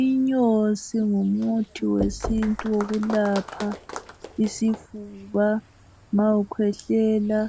Inyosi ngumuthi wesintu wokulapha isifuba ma ukhwehlela